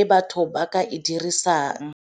e batho ba ka e dirisang.